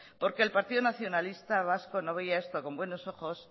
porque el partido nacionalista vasco no veía esto con buenos ojos